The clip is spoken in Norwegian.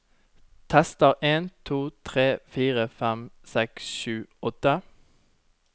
Tester en to tre fire fem seks sju åtte